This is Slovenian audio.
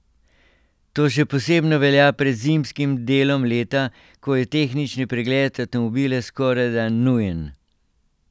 To še posebno velja pred zimskim delom leta, ko je tehnični pregled avtomobila skorajda nujen.